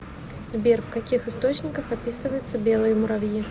сбер в каких источниках описывается белые муравьи